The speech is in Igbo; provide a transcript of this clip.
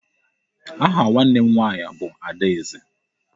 Aha nwanne m nwaanyị bụ Adaeze.